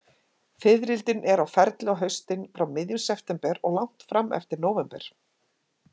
Fiðrildin eru á ferli á haustin, frá miðjum september og langt fram eftir nóvember.